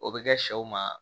O bɛ kɛ sɛw ma